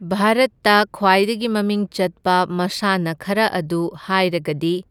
ꯚꯥꯔꯠꯇ ꯈ꯭ꯋꯥꯏꯗꯒꯤ ꯃꯃꯤꯡ ꯆꯠꯄ ꯃꯁꯥꯟꯅ ꯈꯔ ꯑꯗꯨ ꯍꯥꯏꯔꯒꯗꯤ